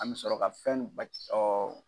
An bi sɔrɔ ka fɛn bɛɛ